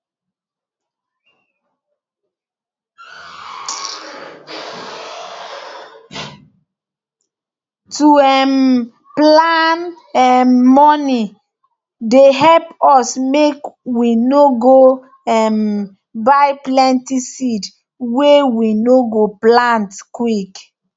to um plan um money dey help us make we no go um buy plenty seed wey we no go plant quick